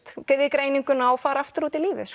greininguna og fari aftur út í lífið